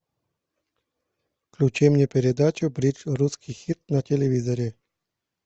включи мне передачу бридж русский хит на телевизоре